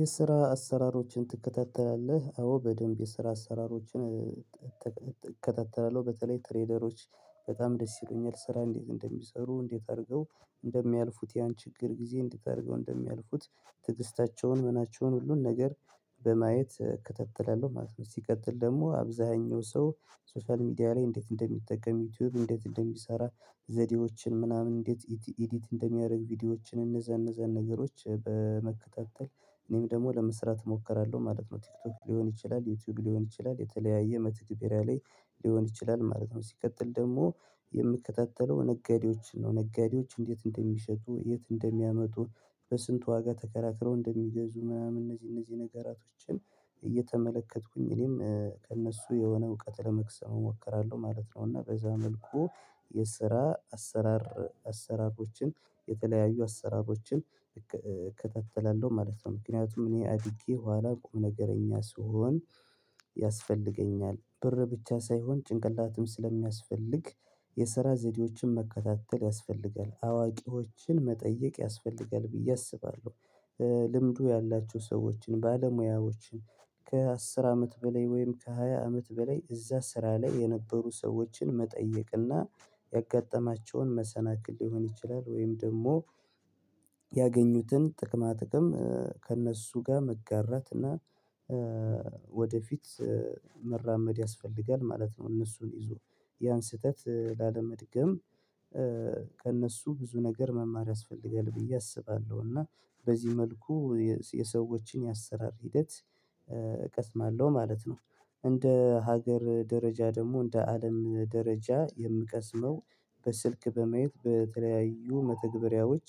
የስራ አሰራሮችን ትከታተላለህ አዎ በደንብ የስራ አሰራሮችን እከታተላለሁ በተለይ ትሬደሮች በጣም ደስ ይሉኛል ስራ እንዴት እንደሚሰሩ እንዴት አድርገው እንደሚያልፉት ያን ችግር ጊዜ እንዴት እንድታደርገው እንደሚያልፉት ትግስታቸውን መናቸውን ሁሉን ነገር በማየት እከታትላለሁ ማለት ነው። ሲቀጥል ደግሞ አብዛኛው ሰው ሶሻል ሚዲያ ላይ እንዴት እንደሚጠቀም ዩቲዩብ እንዴት እንደሚሰራ ዘዴዎችን ምናምን እንዴት ኢዲት እንደሚያደርግ ቪዲዮዎችን እንዛን እነዛን ነገሮች በመከታተል እኔም ደግሞ ለመስራት እሞክራለሁ ማለት ነው። ቲክቶክ ሊሆን ይችላል የቲዩብ ሊሆን ይችላል የተለያየ መተግቢሪያ ላይ ሊሆን ይችላል ማለት ነው። ሲቀጥል ደግሞ የምከታተለው ነጋዴዎች ነው ነጋዴዎች እንዴት እንደሚሸጡ የት እንደሚያመጡ በስንት ዋጋ ተከራክረው እንደሚገዙ ምናምን እነዚህ እነዚህ ነገራቶችን እየተመለከትኩኝ እኔም ከእነሱ የሆነ እውቀት ለመቅሰም እሞክራለሁ ማለት ነው። እና በዛ መልኩ የስራ አሰራር አሰራሮችን የተለያዩ አሰራሮችን እከታተላለሁ ማለት ነው። ምክንያቱም እኔ አድጌ ኋላ ቁምነገረኛ ስሆን ያስፈልገኛል ብር ብቻ ሳይሆን ጭንቅላትም ስለሚያስፈልግ የሰራ ዘዴዎችን መከታተል ያስፈልጋል አዋቂዎችን መጠየቅ ያስፈልጋል ብዬ አስባለሁ። ልምዱ ያላችሁ ሰዎችን ባለሙያዎችን ከአስር አመት በላይ ወይም ከሃያ አመት በላይ እዛ ስራ ላይ የነበሩ ሰዎችን መጠየቅና ያጋጠማቸውን መሰናክል ሊሆን ይችላል ወይም ደግሞ ያገኙትን ጥቅማ ጥቅም ከእነሱ ጋር መጋራት እና ወደፊት መራመድ ያስፈልጋል ማለት ነው። እነሱን ይዜ ያን ስህተት ላለመድገም ከእነሱ ብዙ ነገር መማር ያስፈልጋል ብዬ አስባለሁ። እና በዚህ መልኩ የሰዎችን የአሰራር ሂደት እቀስማለሁ ማለት ነው። እንደ ሀገር ደረጃ ደግሞ እንደ አለም ደረጃ የምቀስመው በስልክ በመየት በተለያዩ መተግበሪያዎች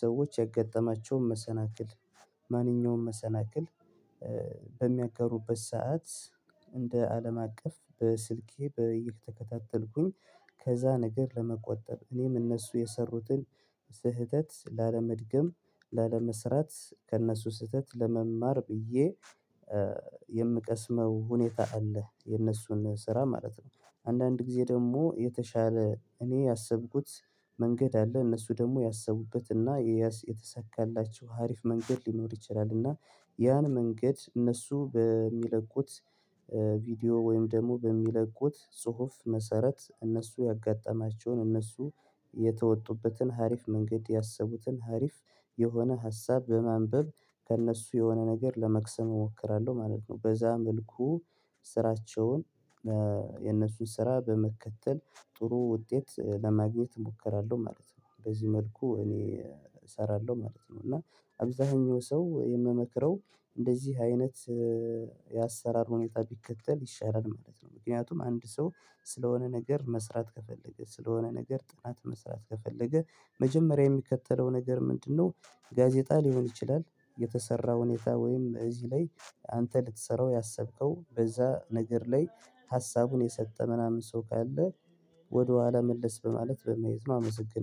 ሰዎች የገጠማቸውን መሰናክል ማንኛውንም መሰናክል በሚያጋሩበት ሰዓት እንደ አለም አቀፍ በስልኬ በ እየተከታተልኩኝ ከዛ ነገር ለመቆጠብ እኔም እነሱ የሰሩትን ስህተት ላለመድገም ላለመሰራት ከእነሱ ስህተት ለመማር ብዬ የምቀስመው ሁኔታ አለ። የነሱን ስራ ማለት ነው አንዳንድ ጊዜ ደግሞ የተሻለ እኔ ያሰብኩት መንገድ አለ እነሱ ደግሞ ያሰቡበት እና የያዝ የተሳካላቸው አሪፍ መንገድ ሊኖር ይችላል። እና ያን መንገድ እነሱ በሚለቁት ቪዲዮ ወይም ደግሞ በሚለቁት ጽሁፍ መሰረት እነሱ ያጋጠማቸውን እነሱ የተወጡበትን አሪፍ መንገድ ያሰቡትን አሪፍ የሆነ ሀሳብ በማንበብ ከእነሱ የሆነ ነገር ለመቅሰም እሞክራለሁ ማለት ነው። በዛ መልኩ ስራቸውን የነሱን ስራ በመከተል ጥሩ ውጤት ለማግኘት እሞክራለሁ ማለት ነው። በዚህ መልኩ እኔ እሰራለሁ ማለት ነው። እና አብዛኛው ሰው የምመክረው እንደዚህ አይነት የአሰራር ሁኔታ ቢከተል ይሻላል ማለት ነው። ምክንያቱም አንድ ሰው ስለሆነ ነገር መስራት ከፈለገ ስለሆነ ነገር ጥናት መስራት ከፈለገ መጀመሪያ የሚከተለው ነገር ምንድነው? ጋዜጣ ሊሆን ይችላል የተሰራ ሁኔታ ወይም እዚህ ላይ አንተ ልትሰራው ያሰብከው በዛ ነገር ላይ ሀሳቡን የሰጠ ምናምን ሰው ካለ ወደኋላ መለስ በማለት በመየት ነው። አመሰግናለሁ